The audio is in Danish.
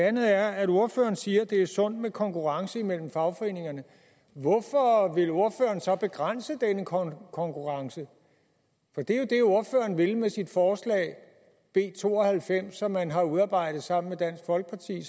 andet er at ordføreren siger det er sundt med konkurrence mellem fagforeningerne hvorfor vil ordføreren så begrænse denne konkurrence det er jo det ordføreren vil med sit forslag b to og halvfems det har man udarbejdet sammen med dansk folkeparti